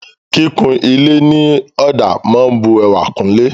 Kíkun ilé ní ọ̀dà máa ń bu ẹwà kún ilé.